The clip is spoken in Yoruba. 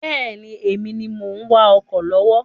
Bẹ́ẹ̀ni, Èmi ni mo ń wá ọkọ̀ lọ́wọ́